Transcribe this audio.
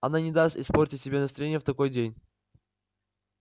она не даст испортить себе настроение в такой день